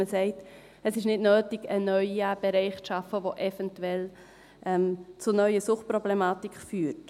Man sagt, es sei nicht nötig, einen neuen Bereich zu schaffen, der eventuell zu neuen Suchtproblematiken führt.